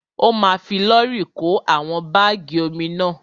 Ó ma fi lọ́rì kó àwọn bágì omi náà.